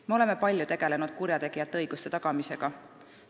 Me oleme palju tegelenud kurjategijate õiguste tagamisega.